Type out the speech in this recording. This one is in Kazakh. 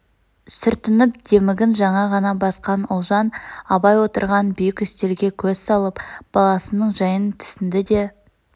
сүртініп демігін жаңа ғана басқан ұлжан абай отырған биік үстелге көз салып баласының жайын түснді де